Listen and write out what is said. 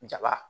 Jaba